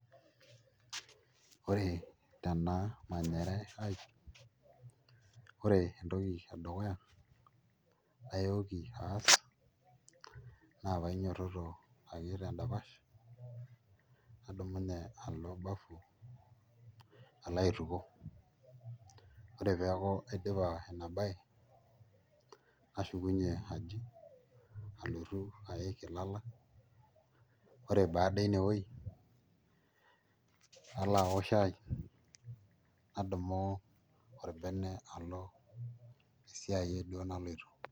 Ore tena manyare aai ore entoki edukuya nayooki aas naa painyiototo ake tendapash nadumunye alo bafu alo aitukuo ore pee eeku aidipa ina baye nashukunyie aji alotu aaik ilala ore baada inewueji nalo aaok shaai nadumu orbene alo esiai duo naloito.